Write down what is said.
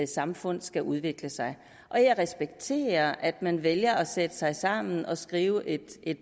samfund skal udvikle sig og jeg respekterer at man vælger at sætte sig sammen og skrive et